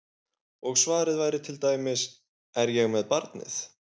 Og svarið væri til dæmis: Er ég með barnið?